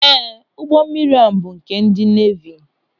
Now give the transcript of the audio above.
Ee, ụgbọ mmiri ahụ bụ nke ndị neevi.